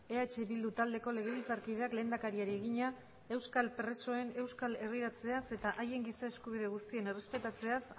eh bildu taldeko legebiltzarkideak lehendakariari egina euskal presoen euskal herriratzeaz eta haien giza eskubide guztien errespetatzeaz